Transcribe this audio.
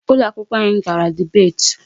Ụlọ akwụkwọ anyị gara debate.